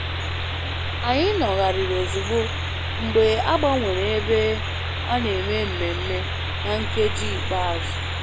Anyị nọgharịrị ozugbo mgbe a gbanwere ebe a na-eme mmemme na nkeji ikpeazụ